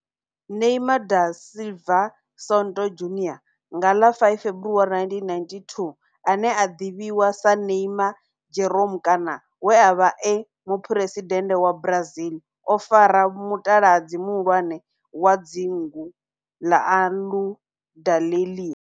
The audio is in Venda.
Neymar da Silva Santos Junior, nga ḽa 5 February 1992, ane a ḓivhiwa sa Ne'ymar' Jeromme kana we a vha e muphuresidennde wa Brazil o fara mutaladzi muhulwane wa dzingu la Aludalelia.